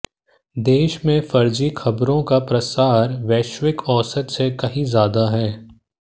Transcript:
देश में फर्जी खबरों का प्रसार वैश्विक औसत से कहीं ज्यादा है